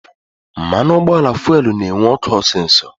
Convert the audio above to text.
Mmanụ ụgbọala fuelu na-enwu ọkụ osisọ